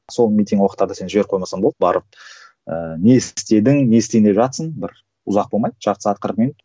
сол митинг уақыттарда сен жіберіп қоймасаң болды барып ыыы не істедің не істейін деп жатырсың бір ұзақ болмайды жарты сағат қырық минут